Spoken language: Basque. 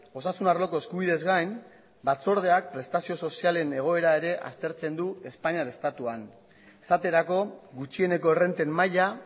osasun arloko eskubideez gain batzordeak prestazio sozialen egoera ere aztertzen du espainiar estatuan esaterako gutxieneko errenten maila